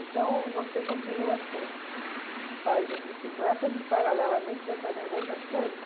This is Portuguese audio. Então você continua assim, faz as bicicletas e, paralelamente, vai fazendo outras coisas?